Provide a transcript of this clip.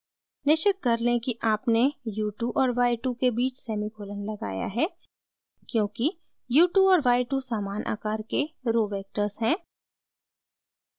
निश्चित कर लें कि आपने u2 और y2 के बीच सेमीकोलन लगाया है क्योंकि u2 और y2 समान आकार के रो row वेक्टर्स हैं